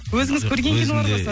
өзіңіз көрген кинолар ғой